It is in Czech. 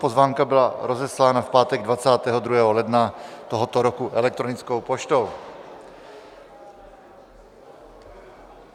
Pozvánka byla rozeslána v pátek 22. ledna tohoto roku elektronickou poštou.